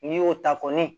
N'i y'o ta kɔni